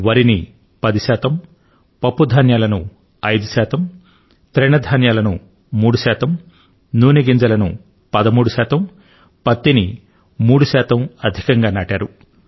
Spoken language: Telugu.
వరి ని 10 శాతం పప్పుధాన్యాలను 5 శాతం ముతక తృణధాన్యాలను 3 శాతం నూనె గింజలను 13 శాతం పత్తిని ఇంచుమించు 3 శాతం అధికంగా నాటారు